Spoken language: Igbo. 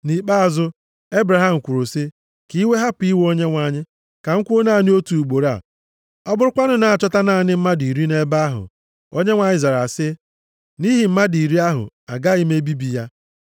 Nʼikpeazụ, Ebraham kwuru sị, “Ka iwe hapụ iwe Onyenwe anyị. Ka m kwuo naanị otu ugboro a. Ọ bụrụkwanụ na a chọta naanị mmadụ iri nʼebe ahụ?” Onyenwe anyị zara sị, “Nʼihi mmadụ iri ahụ, agaghị m ebibi ya.”